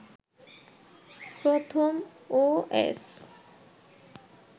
প্রথম ওএস